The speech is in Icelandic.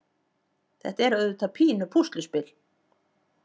Þetta er auðvitað pínu pússluspil.